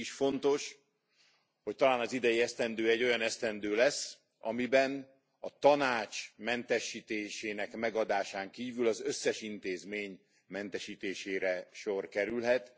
Mégis fontos, hogy talán az idei esztendő egy olyan esztendő lesz, amiben a Tanács mentesítésének megadásán kívül az összes intézmény mentesítésére sor kerülhet.